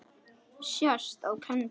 sést á prenti.